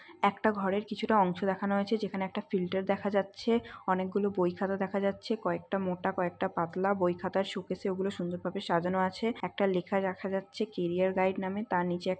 এখানে ঘরের কিছুটা অংশ দেখানো হয়েছে। যেখানে ঘরের ফিল্টার দেখা যাচ্ছে। অনেকগুলো বই খাতা দেখা যাচ্ছে। কয়েকটা মোটা কয়েকটা পাতলা। বই খাতা শোকেসে ওইগুলো সুন্দর করে সাজানো আছে। একটা লেখা দেখা যাচ্ছে কেরিয়ার গাইড নামে। তার নিচে --